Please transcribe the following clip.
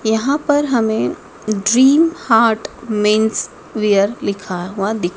यहां पर हमे ड्रीम हार्ट मेंस वियर लिखा हुआ दि--